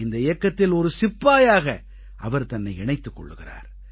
இந்த இயக்கத்தில் ஒரு சிப்பாயாக அவர் தன்னை இணைத்துக் கொள்கிறார்